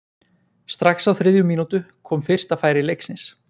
Strax á þriðju mínútu kom fyrsta færi leiksins.